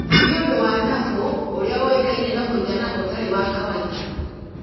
nĩ ũndũ wa nabu ũrĩa ũĩkaine na mũigana ũtarĩ wa kawainda